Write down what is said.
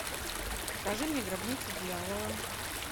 покажи мне гробница дьявола